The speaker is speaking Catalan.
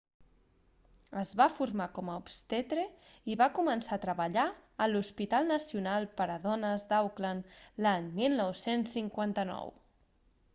es va formar com a obstetre i va començar a treballar a l'hospital nacional per a dones d'auckland l'any 1959